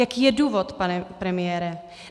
Jaký je důvod, pane premiére?